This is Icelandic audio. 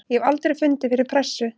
Ég hef aldrei fundið fyrir pressu.